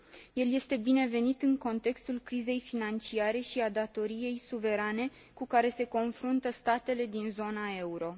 El este binevenit în contextul crizei financiare și al datoriei suverane cu care se confruntă statele din zona euro.